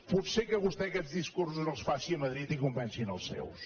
potser que vostè aquests discursos els faci a madrid i convenci els seus